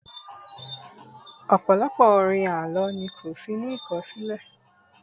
ọpọlọpọ orin àlọ ni ko sí ní akọsilẹ